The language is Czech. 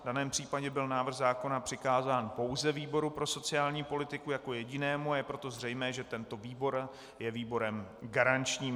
V daném případě byl návrh zákona přikázán pouze výboru pro sociální politiku jako jedinému, a je proto zřejmé, že tento výbor je výborem garančním.